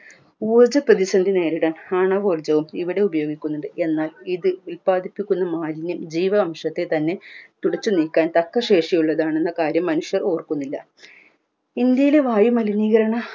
ഊർജ പ്രതിസന്ധി നേരിടാൻ ആണവോർജവും ഇവിടെ ഉപയോഗിക്കുന്നുണ്ട് എന്നാൽ ഇത് ഉൽപ്പാദിപ്പിക്കുന്ന മാലിന്യം ജീവാംശത്തെ തന്നെ തുടച്ചു നീക്കാൻ തക്ക ശേഷിയുള്ളതാണെന്ന കാര്യം മനുഷ്യർ ഓർക്കുന്നില്ല ഇന്ത്യയിലെ വായുമലിനീകരണ